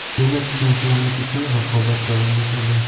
Demak, chempionlik uchun raqobat davom etadi.